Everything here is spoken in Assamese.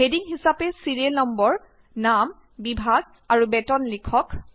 হেডিং হিচাপে ছিৰিয়েল নম্বৰ নাম বিভাগ আৰু বেতন লিখক